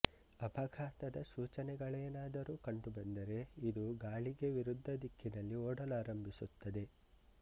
ಅಪಘಾತದ ಸೂಚನೆಗಳೇನಾದರೂ ಕಂಡುಬಂದರೆ ಇದು ಗಾಳಿಗೆ ವಿರುದ್ಧ ದಿಕ್ಕಿನಲ್ಲಿ ಓಡಲಾರಂಭಿಸುತ್ತದೆ